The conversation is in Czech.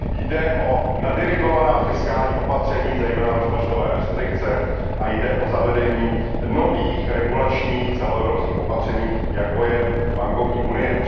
Jde o nadirigovaná fiskální opatření, zejména rozpočtové restrikce, a jde o zavedení nových regulačních celoevropských opatření, jako je bankovní unie.